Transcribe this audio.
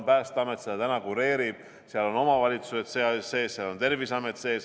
Päästeamet seda täna kureerib, seal on omavalitsused, seal on Terviseamet.